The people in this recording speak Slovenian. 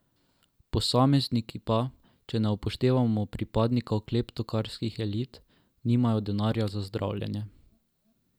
Posamezniki pa, če ne upoštevamo pripadnikov kleptokratskih elit, nimajo denarja za zdravljenje.